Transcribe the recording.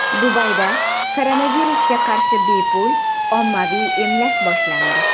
Dubayda koronavirusga qarshi bepul ommaviy emlash boshlandi.